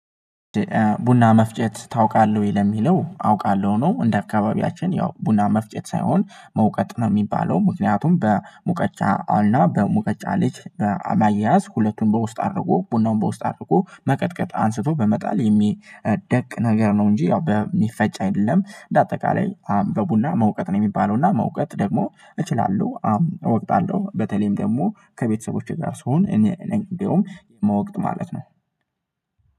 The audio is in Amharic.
ቡና መፍጨት ታውቃለህ ወይ? ለሚለው አውቃለሁ ነው እንደ አካባቢያችን ያው ቡና መፍጨት ሳይሆን መውቀጥ ነው የሚባለው ምክንያቱም በሙቀጫ እና በሙቀጫ ልጅ በማያያዝ ሁለቱን በውስጥ አድርጎ ቡናውን በውስጥ አድርጎ መቅጥቀጥ አንስቶ በመጣል የሚደቅ ነገር ነው እንጂ ያው በሚፈጭ አይደለም በአጠቃላይ በቡና መውቀጥ ነው የሚባለው እና መውቀጥ ደግሞ እችላለሁ አዎ እወቅታለሁ በተለይም ደግሞ ከቤተሰቦቼ ጋር ስሆን እኔ እንደውም ምወቅጥ ማለት ነው